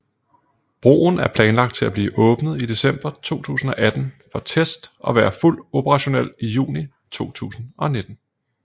Broen er planlagt til at blive åbnet i december 2018 for test og være fuldt operationel i juni 2019